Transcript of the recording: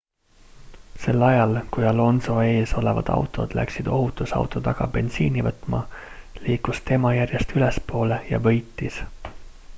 sel ajal kui alonso ees olevad autod läksid ohutusauto taga bensiini võtma liikus tema järjest ülespoole ja võitis